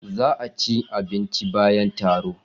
Za a ci abinci bayan taro.